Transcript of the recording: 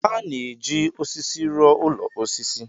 A na-eji osisi rụọ ụlọ osisi.